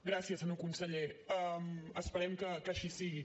gràcies senyor conseller esperem que així sigui